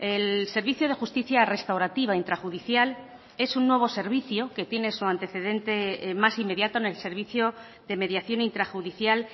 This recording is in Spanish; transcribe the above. el servicio de justicia restaurativa intrajudicial es un nuevo servicio que tiene su antecedente más inmediato en el servicio de mediación intrajudicial